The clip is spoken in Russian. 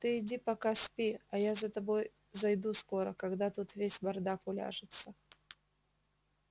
ты иди пока спи я за тобой зайду скоро когда тут весь бардак уляжется